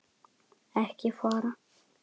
ekki fara!